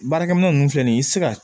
Baarakɛminɛn ninnu filɛ nin ye i tɛ se ka